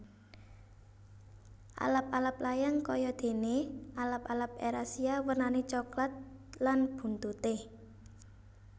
Alap alap layang kaya dene alap alap erasia wernane coklat lan buntute